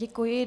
Děkuji.